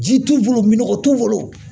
Ji t'u bolo minɔgɔ t'u bolo